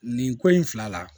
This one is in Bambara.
Nin ko in fila la